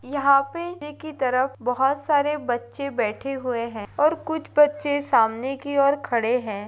यहाँ पे नीचे की तरफ बहोत सारे बच्चे बैठे हुए हैं और कुछ बच्चे सामने की ओर खड़े हैं।